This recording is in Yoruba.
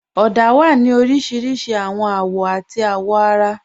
Ọ̀dà wà ní oríṣiríṣí awọn awọ̀ àti awọ̀ara.